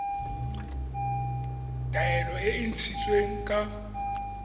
taelo e e ntshitsweng ka